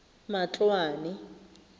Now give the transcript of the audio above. matloane